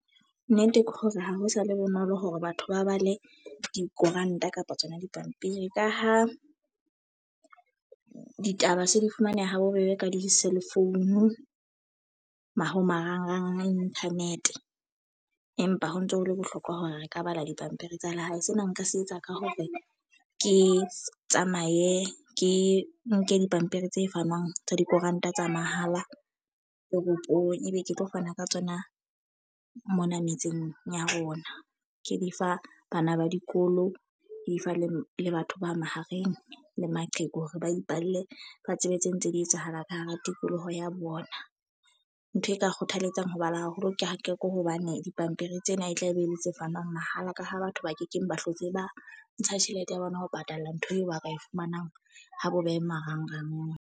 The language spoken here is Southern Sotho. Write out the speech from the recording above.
Nnete ke hore ha ho sa le bonolo hore batho ba ba le dikoranta kapa tsona dipampiri. Ka ha ditaba se di fumaneha ha bobebe ka di-cell phone, kapa marangrang a internet. Empa ho ntso hole bohlokwa hore re ka bala dipampiri tsa lehae. Sena nka se etsa ka hore ke tsamaye ke nke dipampiri tse fanwang tsa dikoranta tsa mahala toropong. E be ke tlo fana ka tsona mona metseng ya rona. Ke di fa bana ba dikolo, di fa le le batho ba mahareng, le maqheku hore ba ipalle ba tsebe tse ntse di etsahalang ka hara tikoloho ya bona. Ntho e ka kgothaletsang ho bala haholo ke ha ke ko hobane dipampiri tsena e tla be e le tse fanwang mahala. Ka ha batho ba kekeng ba hlotse ba ntsha tjhelete ya bona ho patalla ntho eo ba ka e fumanang ha bobebe marangrang.